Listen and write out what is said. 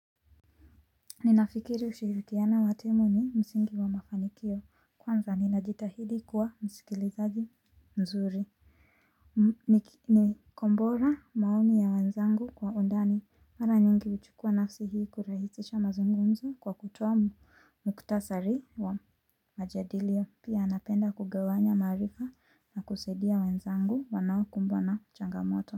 Ninafikiri ushirikiano wa timu ni msingi wa mafanikio kwanza ninajitahidi kuwa msikilizaji mzuri. Ni kombora maoni ya wenzangu kwa undani mara nyingi huchukua nafsi hii kurahisisha mazungumzo kwa kutoa muktasari wa majadilio. Pia napenda kugawanya maarifa na kusaidia wenzangu wanaokumbwa na changamoto.